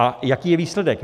A jaký je výsledek?